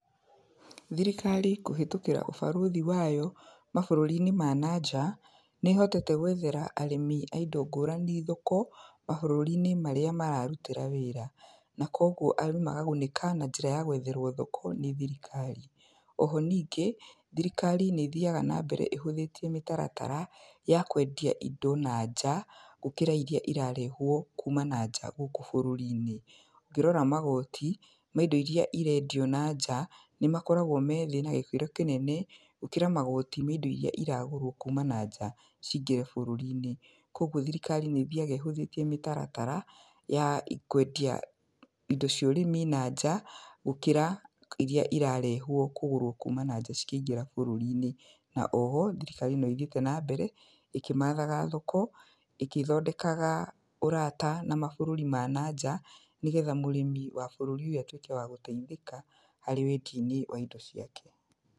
Thirikari kũhĩtũkĩra ũbarũthi wayo, mabũrũri-inĩ ma na nja, nĩ ĩhotete gwethera arĩmi a indo ngũrani thoko, mabũrũri-inĩ marĩa mararutĩra wĩra. Na koguo arĩmi makagunĩka na njĩra ya gwetherwo thoko nĩ thirikari. Oho ningĩ, thirikari nĩ ĩthiaga na mbere ĩhũthĩtie mĩtaratara, ya kwendia indo na nja, gũkĩra irĩa irarehwo kuma na nja gũkũ bũrũri-inĩ. Ngĩrora magooti, ma indo irĩa ĩrendio na nja, nĩ makoragwo me thĩ na gĩkĩro kĩnene, gũkĩra magooti ma indo irĩa iragũrwo kuuma na nja cingĩre bũrũri-inĩ. Koguo thirikari nĩ ĩthiaga ĩhũthĩtie mĩtaratara, ya kwendia indo cia ũrĩmi na nja, gũkĩra irĩa irarehwo kũgũrwo kuma na nja cikĩingĩra bũrũri-inĩ. Na oho, thirikari no ĩthiĩte na mbere, ĩkĩmathaga thoko, ĩkĩthondekaga ũrata na mabũrũri ma na nja, nĩgetha mũrĩmi wa bũrũri ũyũ atuĩke wa gũteithĩka, harĩ wendi-inĩ wa indo ciake.